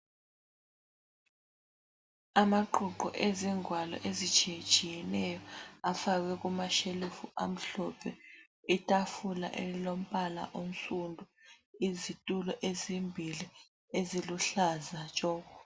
Amaqoqo ezingwalo ezitshiye tshiyeneyo afakwe kumashelufu amhlophe. I tafula elilombala onsundu ,izitulo ezimbili eziluhlaza tshoko.